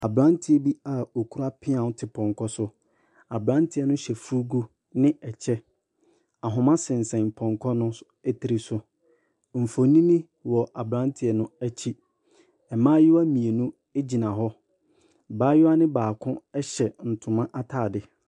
Aberanteɛ bi a okura peaw te pɔnkɔ so, aberanteɛ no hyɛ fugu ne kyɛ. Ahoma sensɛn pɔnkɔ ne so tiri so. Mfonini wɔ aberanteɛ no akyi, mmaayewa mmienu gyina hɔ, mmaayewa ne baako hyɛ ntoma ataade.